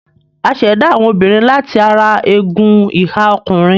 A ṣ'èdá àwọn obìnrin láti ara egun ìhà ọkùnrin.